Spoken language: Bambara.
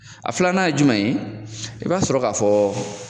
A filanan ye jumɛn ye, i ba sɔrɔ ka fɔ